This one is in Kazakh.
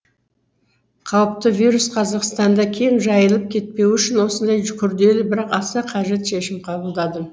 қауіпті вирус қазақстанда кең жайылып кетпеуі үшін осындай күрделі бірақ аса қажет шешім қабылдадым